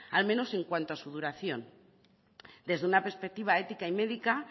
al menos en cuanto a su duración desde una perspectiva ética y médica